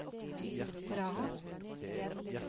Praha